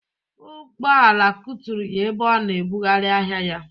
Ụgbọala kuturu ya ebe ọ na ebughari ahịa ya